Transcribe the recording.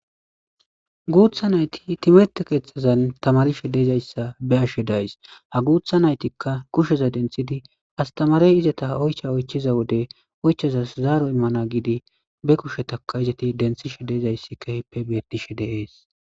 Guutha nayti timrtte keeththazan tamarishe dizayssa be7ashe de7ays. Ha guutha naytikka kusheza denthidi astamarey izata oycha oychiza wode oychazas zaaro immana giidi be kushetaka izati denthishe dizayssi keehippe bettishe de7ees.